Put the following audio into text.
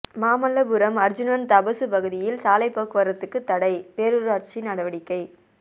மாமல்லபுரம் அா்ஜுனன் தபசு பகுதியில் சாலைப் போக்குவரத்துக்கு தடைபேரூராட்சி நடவடிக்கை